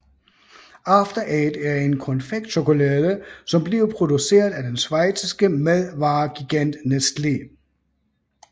After Eight er en konfektchokolade som bliver produceret af den schweiziske madvaregigant Nestlé